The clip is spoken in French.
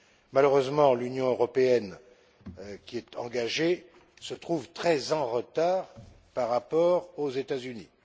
Malheureusement, l'Union européenne, qui est engagée, se trouve très en retard par rapport aux États Unis.